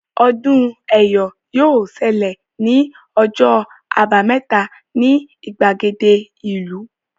Ọdún Ẹ́yọ̀ yóò ṣẹlẹ̀ ní ọjọ́ àbámẹ́ta ni ìgbàgede ìlú